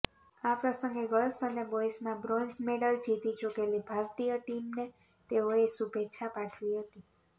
આ પ્રસંગે ગર્લ્સ અને બોયઝમાં બ્રોન્ઝ મેડલ જીતી ચુકેલી ભારતીય ટીમને તેઓએ શુભેચ્છા પાઠવી હતી